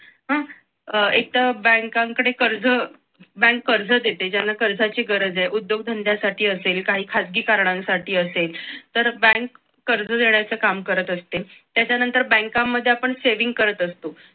अह एकतर बँकांकडे कर्ज बँक कर्ज देते ज्यांना कर्जाची गरज आहे उद्योगधंद्यांसाठी असेल काही खाजगी कारणांसाठी असेल बँक कर्ज देण्याचे काम करत असते त्याच्यानंतर बँकांमध्ये आपण saving करत असतो